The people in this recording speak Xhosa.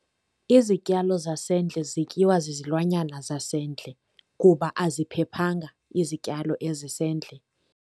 Izityalo zasendle zityiwa zizilwanyana zasendle, kuba aziphephanga izityalo ezisendle.